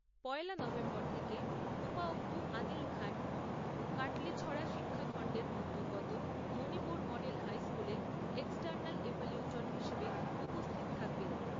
পয়লা November থেকে উপায়ুক্ত আদিল খান কাটলীছড়া শিক্ষাখণ্ডের অন্তর্গত মণিপুর মডেল হাইস্কুলে হিসাবে উপস্থিত থাকবেন।